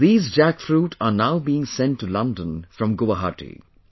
These jackfruit are now being sent to London from Guwahati